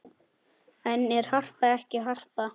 En er Harpa ekki Harpa?